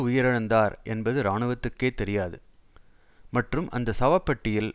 உயிரிழந்தார் என்பது இராணுவத்துக்கே தெரியாது மற்றும் அந்த சவ பெட்டியில்